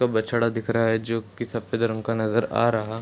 दो बछड़ा दिख रहा है जो की सफेद रंग का नजर आ रहा।